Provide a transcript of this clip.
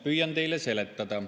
Püüan teile seletada.